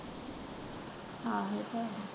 ਆਹੋ ਇਹ ਤਾਂ ਹੈ।